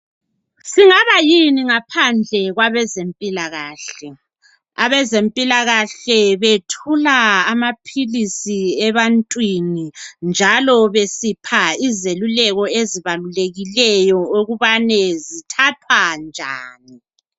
Singaba yini ngaphandle kwabezempilakahle .Abezempilakahle bethula. amaphilisi ebantwini .Njalo besipha izeluleko ezibalulekiyo ukubane zithathwa njani .